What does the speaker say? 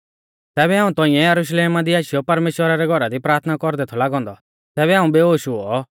ज़ैबै हाऊं तौंइऐ यरुशलेमा दी आशीयौ परमेश्‍वरा रै घौरा दी प्राथना कौरदै थौ लागौ औन्दौ तैबै हाऊं बेहोश हुऔ